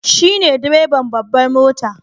Shi ne direban babbar mota